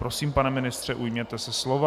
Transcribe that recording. Prosím, pane ministře, ujměte se slova.